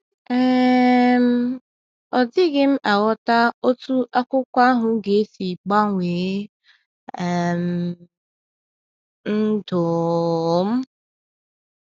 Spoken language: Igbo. um Ọ dịghị m aghọta otú akwụkwọ ahụ ga-esi gbanwee um ndụ um m.